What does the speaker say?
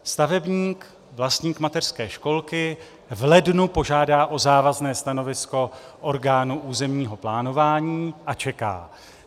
Stavebník, vlastník mateřské školky, v lednu požádá o závazné stanovisko orgánu územního plánování a čeká.